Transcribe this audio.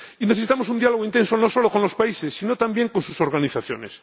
Necesitamos un diálogo intenso, no solo con los países árabes, sino también con sus organizaciones.